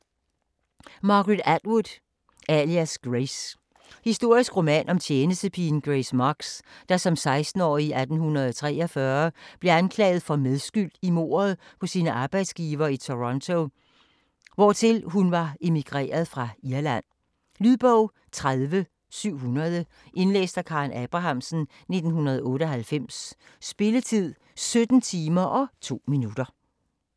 Atwood, Margaret: Alias Grace Historisk roman om tjenestepigen Grace Marks, der som 16-årig i 1843 blev anklaget for medskyld i mordet på sine arbejdsgivere i Toronto, hvortil hun var emigreret fra Irland. Lydbog 30700 Indlæst af Karen Abrahamsen, 1998. Spilletid: 17 timer, 2 minutter.